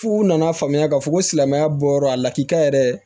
F'u nana faamuya k'a fɔ ko silamɛya bɔyɔrɔ a lakika yɛrɛ